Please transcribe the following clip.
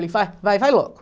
Falei, fa, vai, vai logo.